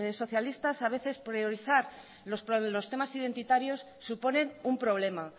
socialistas a veces priorizar los temas identitarios suponen un problema